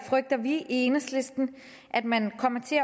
frygter vi i enhedslisten at man kommer til